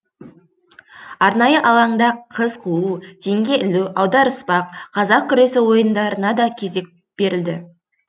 арнайы алаңда қыз қуу теңге ілу аударыспақ қазақ күресі ойындарына да кезек берілді